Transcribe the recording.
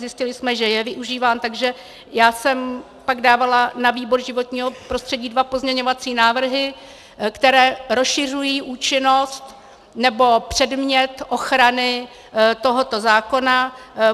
Zjistili jsme, že je využíván, takže já jsem pak dávala na výbor životního prostředí dva pozměňovací návrhy, které rozšiřují účinnost nebo předmět ochrany tohoto zákona.